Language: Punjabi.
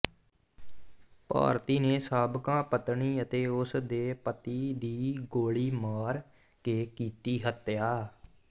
ਭਾਰਤੀ ਨੇ ਸਾਬਕਾ ਪਤਨੀ ਅਤੇ ਉਸ ਦੇ ਪਤੀ ਦੀ ਗੋਲੀ ਮਾਰ ਕੇ ਕੀਤੀ ਹੱਤਿਆ